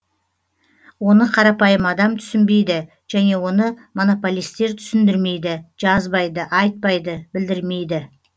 оны қарапайым адам түсінбейді және оны монополистер түсіндірмейді жазбайды айтпайды білдірмейді